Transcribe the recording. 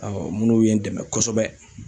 minnu ye n dɛmɛ kosɛbɛ.